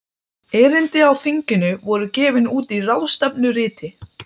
Erindi á þinginu voru gefin út í ráðstefnuriti.